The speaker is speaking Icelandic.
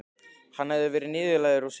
Hann hafði verið niðurlægður og svikinn.